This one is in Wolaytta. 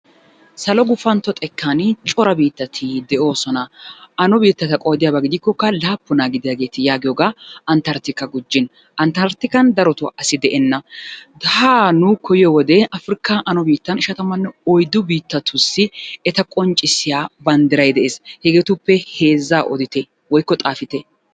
Salo gupantto xekkan cora biittati de'oosona. Ano biittata qoodiyaba gidikkokka laappunaa gidiyageeti yaagiyoogaa antertika gujjin. Antertikan darotoo asi de'enna. Haa nuukko yiyo wode afrikan ishatamanne oyiddu biittatussi eta qonccissiya banddiray de'es. Hegeetuppe heezzaa odite woykko xaafite.